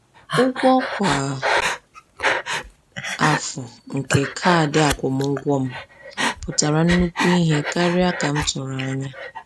Ụgwọ kwa afọ nke kaadị akwụmụgwọ m pụtara nnukwu ihe karịa ka m tụrụ anya.